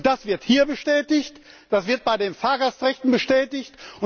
Und das wird hier bestätigt, das wird bei den Fahrgastrechten bestätigt.